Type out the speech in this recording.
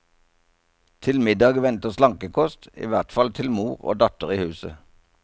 Til middag venter slankekost, i hvert fall til mor og datter i huset.